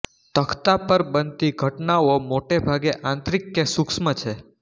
તખ્તા પર બનતી ઘટનાઓ મોટે ભાગ આંતરિક કે સૂક્ષ્મ છે